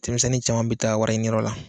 Denmisɛnninw caman bɛ taa wariɲiniyɔrɔ la